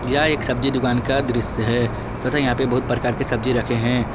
यह एक सब्जी दुकान का दृश्य है तथा यहां पे बहुत प्रकार के सब्जी रखे हैं।